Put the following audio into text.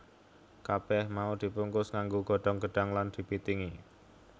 Kabèh mau dibungkus nganggo godhong gedhang lan dibitingi